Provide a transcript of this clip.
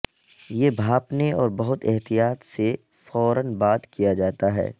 یہ بھاپنے اور بہت احتیاط سے فورا بعد کیا جاتا ہے